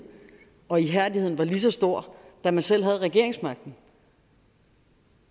og ihærdighed var lige så stor da man selv havde regeringsmagten